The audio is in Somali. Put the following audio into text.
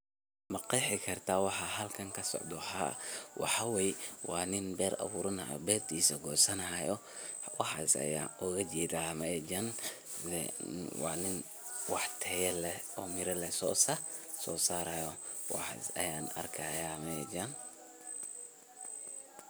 Maqeexi kartah waxa halkan kasocdoh haa waxaywaye wa nin beer abuuranayo, oo beertisa kusanayo waxasi Aya UGA jeedah meshan, wa nin wax taaya leeh sosaarayo waxasi Aya arkahayo meshan.